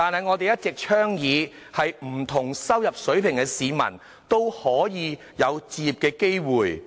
我們一直倡議不同收入水平市民，也擁有置業機會。